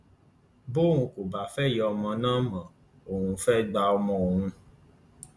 bọun kò bá fẹ ìyá ọmọ náà mọ òun fẹẹ gba ọmọ òun